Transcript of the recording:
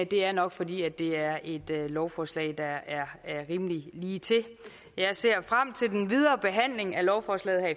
det er nok fordi det er et lovforslag der er rimelig lige til jeg ser frem til den videre behandling af lovforslaget her